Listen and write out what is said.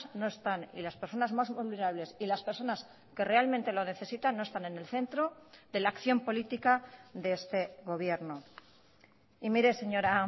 no están y las personas más vulnerables y las personas que realmente lo necesitan no están en el centro de la acción política de este gobierno y mire señora